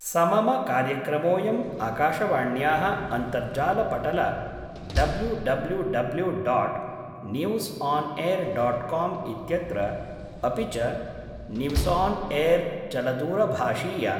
समम कार्यक्रमोऽयं आकाशवाण्याः अन्तर्जालपटल W W W . News on air . Com इत्यत्र, अपि च, newsonair चलदूरभाषीय